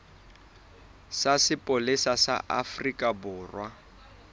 sa sepolesa sa afrika borwa